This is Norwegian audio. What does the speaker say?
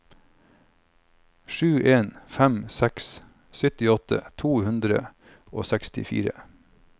sju en fem seks syttiåtte to hundre og sekstitre